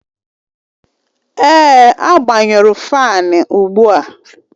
Èè, agbanyụrụ faani ugbu a